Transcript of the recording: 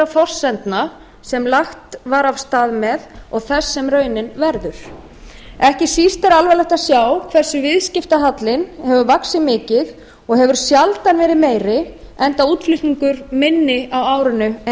forsendna sem lagt var af stað með og þess sem raunin verður ekki síst er alvarlegt að sjá hversu mikið viðskiptahallinn hefur vaxið og hefur hann sjaldan verið meiri enda er útflutningur minni á árinu en